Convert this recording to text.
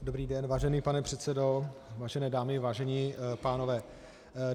Dobrý den, vážený pane předsedo, vážené dámy, vážení pánové.